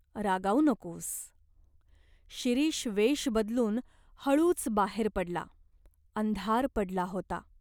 रागावू नकोस." शिरीष वेष बदलून हळूच बाहेर पडला. अंधार पडला होता.